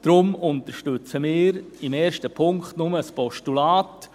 Deshalb unterstützen wir im ersten Punkt nur das Postulat.